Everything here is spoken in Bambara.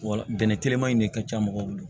Wa bɛnɛ telima in de ka ca mɔgɔw bolo